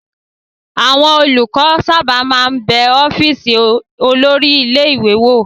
Àwọn olùkọ́ sábà máa ń bẹ ọ́fíísì olórí ilé-ìwé wò.